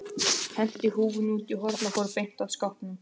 Henti húfunni út í horn og fór beint að skápnum.